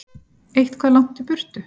Eitthvað langt í burtu.